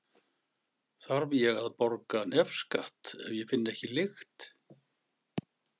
Þarf ég að borga nefskatt ef ég finn ekki lykt?